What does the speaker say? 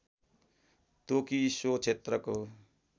तोकी सो क्षेत्रको